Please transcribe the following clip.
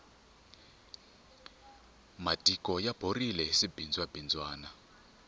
matiko ya borile hi swibindzwa bindzwana